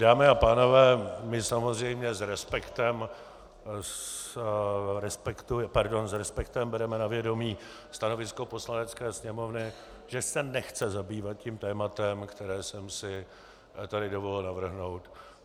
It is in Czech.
Dámy a pánové, my samozřejmě s respektem bereme na vědomí stanovisko Poslanecké sněmovny, že se nechce zabývat tím tématem, které jsem si tady dovolil navrhnout.